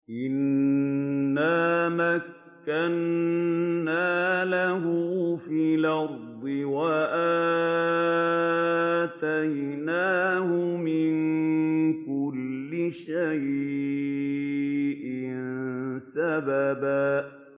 إِنَّا مَكَّنَّا لَهُ فِي الْأَرْضِ وَآتَيْنَاهُ مِن كُلِّ شَيْءٍ سَبَبًا